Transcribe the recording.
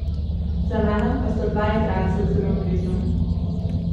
Za mano pa sta dva jadralca zelo blizu.